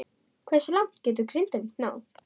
Hversu langt getur Grindavík náð?